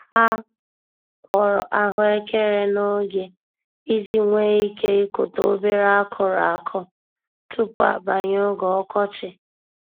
Ha kọrọ ahụekeren'oge iji nwee ike ịkụta obere akụrụ akụ tupu abanye oge ọkọchị.